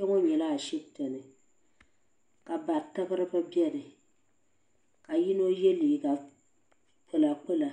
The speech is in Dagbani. Kpɛŋɔ nyɛla ashibiti ni ka bari tibiriba bɛni ka yino yɛ liiga kpula kpula